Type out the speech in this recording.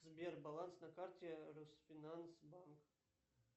сбер баланс на карте росфинанс банк